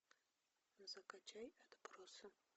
закачай отбросы